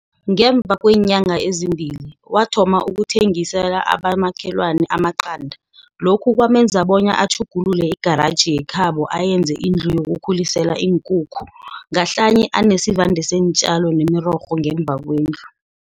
Ngemva kweenyanga ezimbili, wathoma ukuthengi sela abomakhelwana amaqanda. Lokhu kwamenza bona atjhugulule igaraji yekhabo ayenze indlu yokukhulisela iinkukhu. Ngahlanye anesivande seentjalo nemirorho ngemva kwendlu.